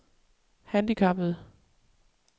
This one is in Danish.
handicappede